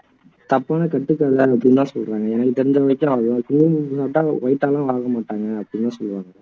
சும்மா சொல்றாங்களா எனக்கு தெரிஞ்ச வரைக்கும் குங்குமப்பூ சாப்பிட்டா white ஆ எல்லாம் ஆக மாட்டாங்க அப்படி தான் சொல்லுவேன்